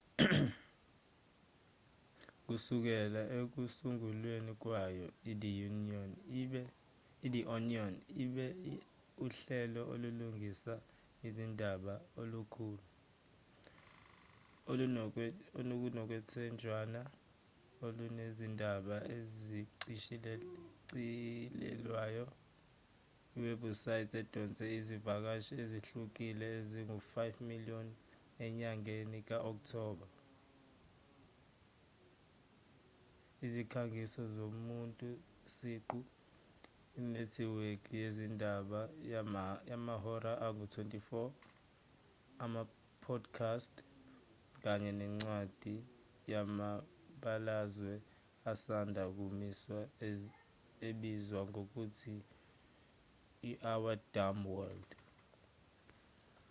kusukela ekusungulweni kwayo ithe onion ibe uhlelo olulingisa izindaba olukhulu olunokwethenjelwa olunezindaba ezishicilelwayo iwebhusayithi edonse izivakashi ezihlukile ezi-5,000,000 enyangeni ka-okthoba izikhangiso zomuntu siqu inethiwekhi yezindaba yamahora angu-24 ama-podcast kanye nencwadi yamabalazwe esanda kumiswa ebizwa ngokuthi our dumb world